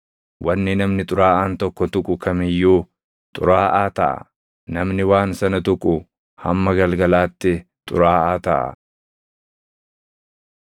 Wanni namni xuraaʼaan tokko tuqu kam iyyuu xuraaʼaa taʼa; namni waan sana tuqu hamma galgalaatti xuraaʼaa taʼa.”